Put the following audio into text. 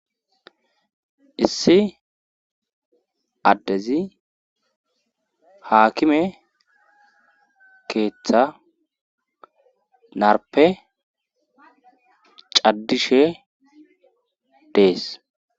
Issi addezi haakime keeththa narpe caddishe dees